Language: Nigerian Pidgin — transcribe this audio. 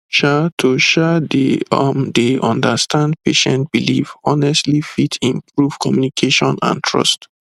um to um dey um dey understand patient belief honestly fit improve d communication and trust